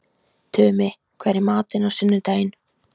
Tumi, hvað er í matinn á sunnudaginn?